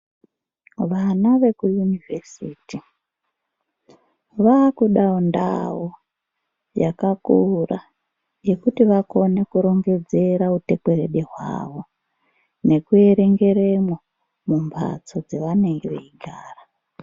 Vana veku yunivhesiti vave kudawo ndau yakakura yekuti vakone kurongedzera utekwerede hwavo neku erengeremwo mumbatso dzavanenge vechigara.